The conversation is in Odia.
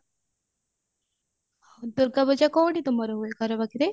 ଦୂର୍ଗା ପୂଜା କଉଠି ତମର ହୁଏ ଘର ପାଖରେ